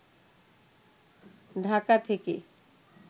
ঢাকা থেকে